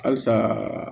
Halisa